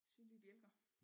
Synlige bjælker